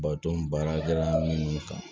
Baton baarakɛla nunnu kan